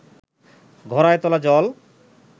ঘড়ায় তোলা জল